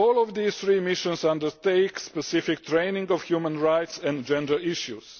These three missions all undertake specific training on human rights and gender issues.